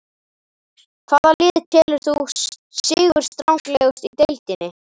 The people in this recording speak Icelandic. Hvaða lið telur þú vera sigurstranglegust í deildinni?